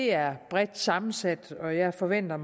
er bredt sammensat og jeg forventer